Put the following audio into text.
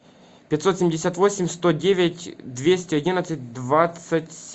пятьсот семьдесят восемь сто девять двести одиннадцать двадцать